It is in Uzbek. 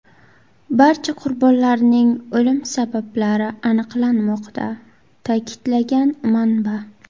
Barcha qurbonlarning o‘lim sabablari aniqlanmoqda”, ta’kidlagan manba.